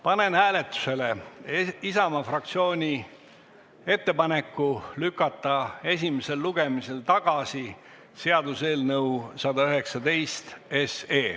Panen hääletusele Isamaa fraktsiooni ettepaneku lükata tagasi seaduseelnõu 119.